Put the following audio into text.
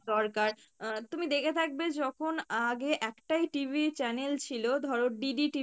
দরকার আহ তুমি দেখে থাকবে যখন আগে একটাই TV channel ছিল ধরো, DD